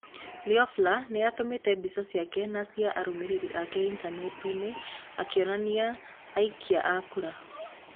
Loeffler nĩ atũmĩte mbica ciake na cia arũmĩrĩri ake intaneti-inĩ akĩonia aikia a kura.